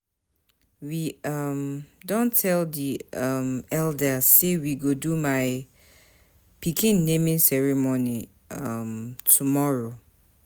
We um don tell di um eldas sey we go do my pikin naming ceremony um tomorrow.